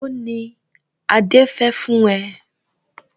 Èlò ni Adé fẹ fún ẹ?